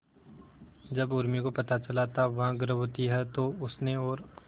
जब उर्मी को पता चला था वह गर्भवती है तो उसने और